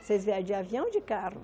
Vocês vieram de avião ou de carro?